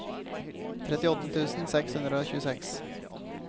trettiåtte tusen seks hundre og tjueseks